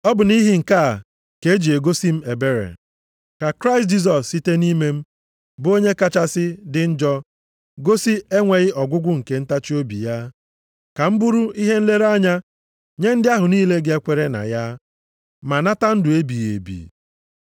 Ọ bụ nʼihi nke a ka e ji gosi m ebere, ka Kraịst Jisọs site nʼime m, bụ onye kachasị dị njọ, gosi enweghị ọgwụgwụ nke ntachiobi ya, ka m bụrụ ihe nlere anya nye ndị ahụ niile ga-ekwere na ya, ma nata ndụ ebighị ebi.